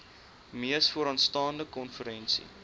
mees vooraanstaande konferensie